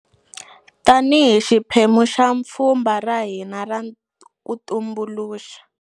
Tanihi xiphemu xa pfhumba ra hina ra ku tumbuluxa.